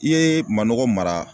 I ye manɔgɔ mara